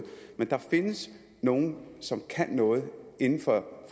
men der findes nogle som kan noget inden for